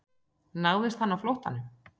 Náðist hann á flóttanum